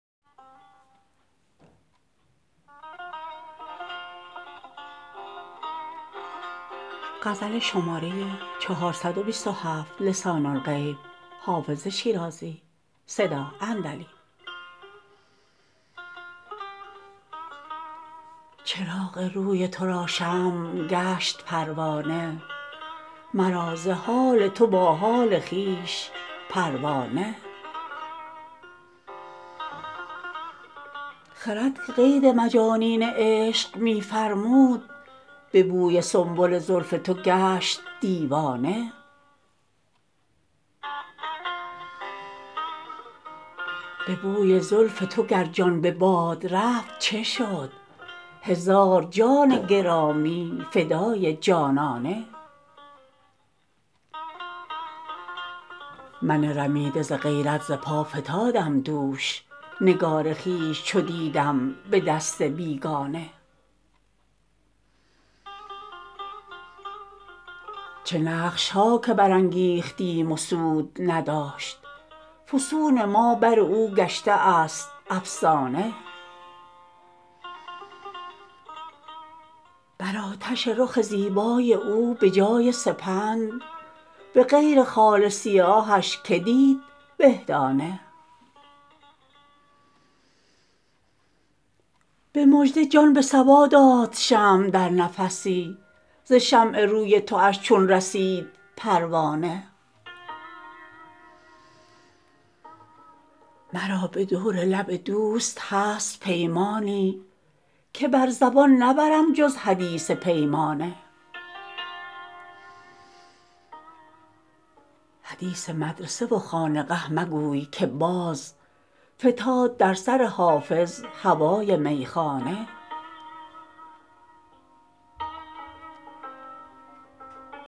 چراغ روی تو را شمع گشت پروانه مرا ز حال تو با حال خویش پروا نه خرد که قید مجانین عشق می فرمود به بوی سنبل زلف تو گشت دیوانه به بوی زلف تو گر جان به باد رفت چه شد هزار جان گرامی فدای جانانه من رمیده ز غیرت ز پا فتادم دوش نگار خویش چو دیدم به دست بیگانه چه نقش ها که برانگیختیم و سود نداشت فسون ما بر او گشته است افسانه بر آتش رخ زیبای او به جای سپند به غیر خال سیاهش که دید به دانه به مژده جان به صبا داد شمع در نفسی ز شمع روی تواش چون رسید پروانه مرا به دور لب دوست هست پیمانی که بر زبان نبرم جز حدیث پیمانه حدیث مدرسه و خانقه مگوی که باز فتاد در سر حافظ هوای میخانه